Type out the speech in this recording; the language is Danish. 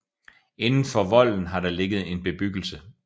Inden for volden har der ligget en bebyggelse